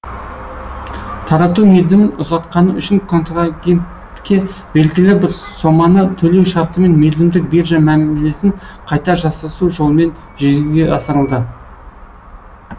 тарату мерзімін ұзартқаны үшін контрагентке белгілі бір соманы төлеу шартымен мерзімдік биржа мәмілесін қайта жасасу жолмен жүзеге асырылады